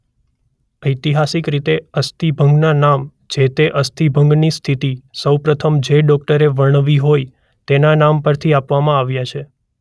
ઐતિહાસિક રીતે અસ્થિભંગના નામ જે-તે અસ્થિભંગની સ્થિતિ સૌ પ્રથમ જે ડોકટરે વર્ણવી હોય તેના નામ પરથી આપવામાં આવ્યા છે.